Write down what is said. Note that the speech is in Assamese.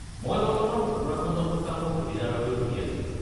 মই বৰ্তমান উত্তৰাখণ্ডত থকা মোৰ ভতিজাৰ হৈ সুধি আছো।